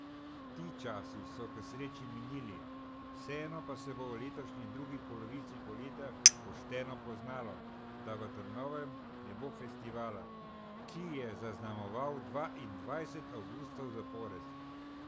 Ti časi so k sreči minili, vseeno pa se bo v letošnji drugi polovici poletja pošteno poznalo, da v Trnovem ne bo festivala, ki je zaznamoval dvaindvajset avgustov zapored.